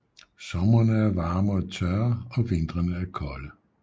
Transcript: Somrene er varme og tørre og vintrene er kolde